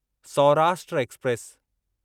Saurashtra express